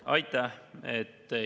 Aitäh!